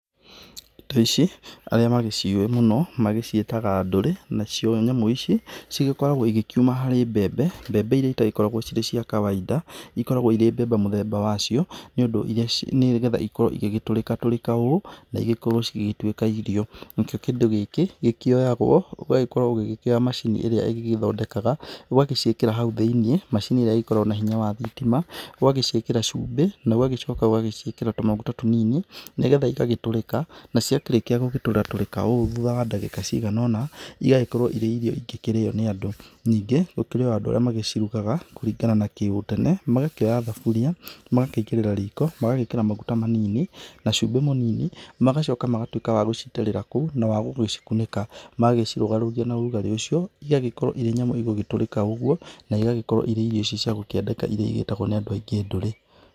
Indo ici arĩa magĩciũĩ mũno magĩciitega ndore na cio nyamũ ici cigĩkoragwo igĩkĩũma harĩ mbembe mbembe ĩrĩa itagĩkoragwo cirĩ cia kawaida ikoragwo ĩrĩ mbembe mũthemba wacio nĩgetha ikorwo ingĩgĩtũrĩka tũrĩka ũũ naigĩgĩkorwo cigĩtwĩka irio nakio kĩndũ gĩkĩ kĩoyagwo ũgagĩkorwo ũgĩkĩoya macini ĩrĩa ĩgĩgĩthodekaga ũgagĩciikara haũ thiĩnĩ macini ĩríĩ ĩgĩkoragwo na hinya wa thitima ũgagĩciikĩra cube na tũmaguta tũnini nĩgetha ĩgagĩtũrĩka nacia kĩrĩkĩa gũtũra tũrika ũũ thũta wa dagĩka ciganona ĩgagĩkorwo ĩrĩ irio ingĩkĩrĩo nĩ andũ, ningĩ gũkĩrĩ o andũ arĩa magĩcirugaga kũrigana na gĩũtene magakĩoya thaburia magakĩigĩrĩra riko magagĩkĩra maguta manini na cumbe munini magacoka magatuika agũcitĩrĩra kũu na wagũcikunĩka magagĩcirogarugia na ũrugarĩ ũcio igagĩkorwo ĩrĩ nyamũ igũgĩtũrĩka o ũgũo na igagĩkorwo ĩrĩ irio cia gukĩendeka ĩrĩa cigĩtegwa nĩ andũ aingĩ ndore.